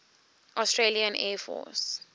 australian air force